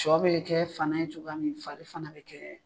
Sɔ bɛ kɛ fana ye cogoya min fari fana bɛ kɛ